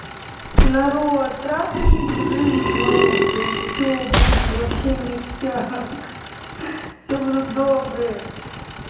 народ трахайтесь в жизни лучше и все будет вообще ништяк все будут добрые